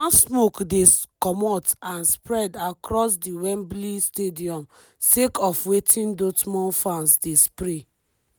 one smoke dey comot and spread across di wembley stadium sake of wetin dortmund fans dey spray.